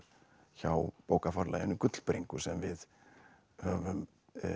hjá bókaforlaginu Gullbringu sem við höfum